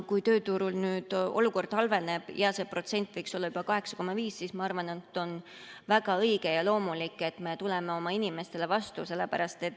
Kui tööturul olukord halveneb ja see protsent võiks olla juba 8,5, siis ma arvan, et on väga õige ja loomulik, et me tuleme oma inimestele vastu.